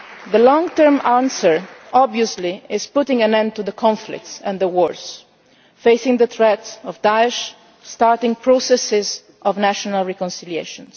The long term answer obviously is putting an end to the conflicts and the wars, facing the threat of Daesh, starting processes of national reconciliation.